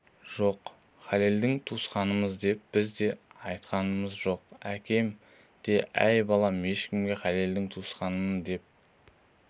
жоқ халелдің туысқанымыз деп біз де айтқамыз жоқ әкем де әй балам ешкімге халелдің туысқанымын деп